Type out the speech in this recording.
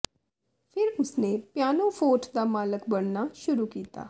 ਫਿਰ ਉਸਨੇ pianoforte ਦਾ ਮਾਲਕ ਬਣਨਾ ਸ਼ੁਰੂ ਕੀਤਾ